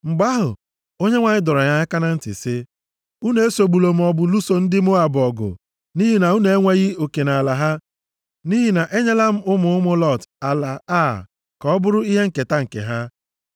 Mgbe ahụ, Onyenwe anyị dọrọ anyị aka na ntị sị, “Unu esogbula maọbụ lụso ndị Moab ọgụ nʼihi na unu enweghị oke nʼala ha, nʼihi na enyela m ụmụ ụmụ Lọt ala Ar ka ọ bụrụ ihe nketa nke ha.”